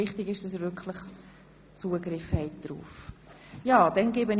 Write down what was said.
Wichtig ist, dass Sie wirklich darauf Zugriff haben.